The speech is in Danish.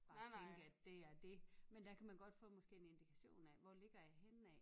Bare tænke at det er dét men der kan man godt få måske en indikation af hvor ligger jeg henne af$